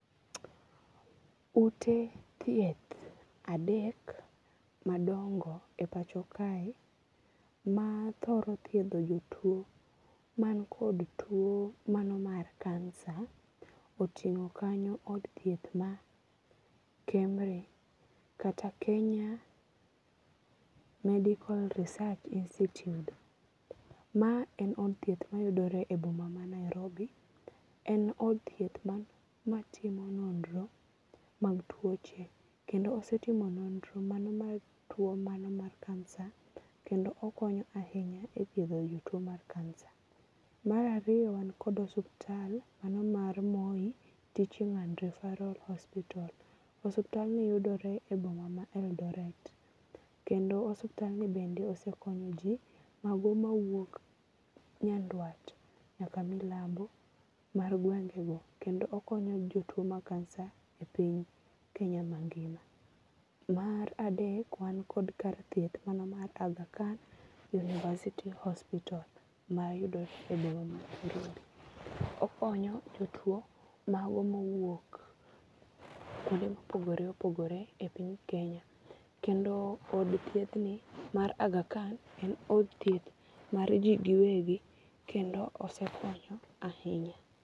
Ute thieth adek madongo e pacho kae ma thoro thiedho jotuo man kod tuo mano mar kansa otingo kanyo od thieth mar KEMRI kata Kenya Medical Research Institute. Ma en od thieth mayudore e boma ma Nairobi. En od thieth matimo nonro mag tuoche. Kendo osetimo nonro mano mar tuo mano mar kansa. Kendo okonyo ahinya e thiedho jotuo mar kansa. Mar ariyo wan kod osiptal mano mar Moi Teaching and Referral Hospital. Osiptalni yudore e boma ma Eldoret. Kendo osiptalni bende osekonyo ji mago mawuok nyanduat nyaka milambo mar gwenge go. Kendo okonyo jotuo mar kansa e piny Kenya ma ngima. Mar adek wan kod kar thieth mano mar Agha Khan University Hospital mayudore e boma mar Nairobi. Okonyo jotuo mago mowuok kuonde mopogore opogore e piny Kenya. Kendo od thieth ni mar Agha Khan en od thieth mar ji gi wegi kendo osekonyo ahinya.